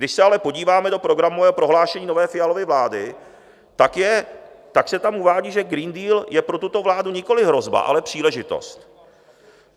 Když se ale podíváme do Programového prohlášení nové Fialovy vlády, tak se tam uvádí, že Green Deal je pro tuto vládu nikoliv hrozba, ale příležitost.